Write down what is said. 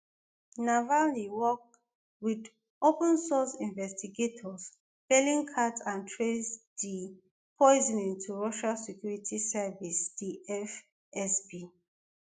navalny work wit opensource investigators bellingcat and trace di poisoning to russia security service di fsb